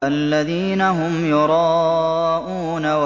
الَّذِينَ هُمْ يُرَاءُونَ